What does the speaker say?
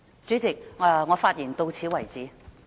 主席，我的發言到此為止。